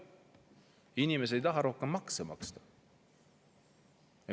Inimesed ei taha rohkem makse maksta.